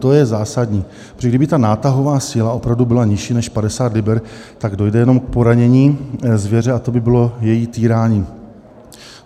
To je zásadní, protože kdyby ta nátahová síla opravdu byla nižší než 50 liber, tak dojde jenom k poranění zvěře a to by bylo její týrání.